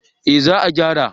Eh za a gyara